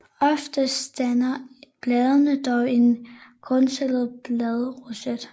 Oftest danner bladene dog en grundstillet bladroset